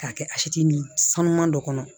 K'a kɛ a si ni sanu man dɔ kɔnɔ